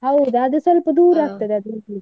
ಹೌದ್ ಅದು ಸ್ವಲ್ಪ ದೂರ ಆಗ್ತದೆ .